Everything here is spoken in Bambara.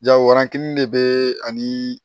Jagoyaki de bɛ ani